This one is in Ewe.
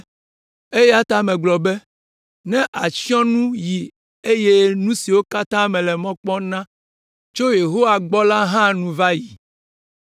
Eya ta megblɔ be, “Nye atsyɔ̃nu yi eye nu siwo katã mele mɔ kpɔm na tso Yehowa gbɔ la hã nu va yi.”